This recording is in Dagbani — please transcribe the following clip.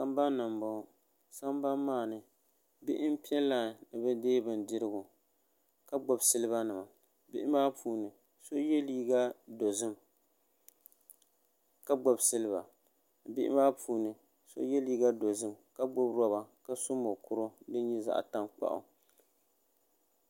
sabani n bɔŋɔ sabani maa ni bihi n pɛ Lani mi be dɛ bindirigu ka gbabi silibanim bihi maa ka gbabi siliba bihi maa puuni so yɛ liga dozim ka gbabi roba ka so mokuro din nyɛ zaɣ tankpagu